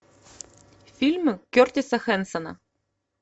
фильмы кертиса хэнсона